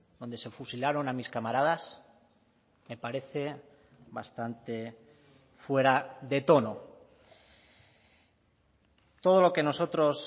donde se fusilaron a mis camaradas me parece bastante fuera de tono todo lo que nosotros